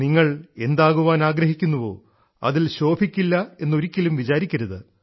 നിങ്ങൾ എന്താകാൻ ആഗ്രഹിക്കുന്നുവോ അതിൽ ശോഭിക്കില്ല എന്ന് ഒരിക്കലും വിചാരിക്കരുത്